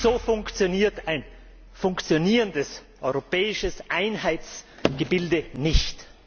So funktioniert ein funktionierendes europäisches Einheitsgebilde nicht!